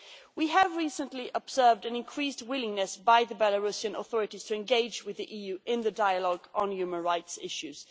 We have recently observed an increased willingness by the Belarusian authorities to engage with the EU in the dialogue on human rights issues.